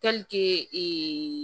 ee